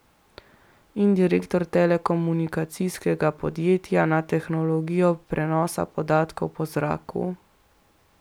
In direktor telekomunikacijskega podjetja na tehnologijo prenosa podatkov po zraku?